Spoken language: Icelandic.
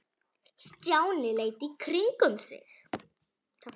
Stjáni leit í kringum sig.